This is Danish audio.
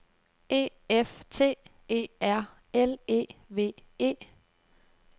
E F T E R L E V E